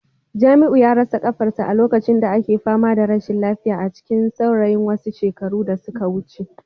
Jamiu ya rasa kafarsa a lokacin da ake fama da rashin lafiya a cikin saurayin wasu shekaru da suka wuce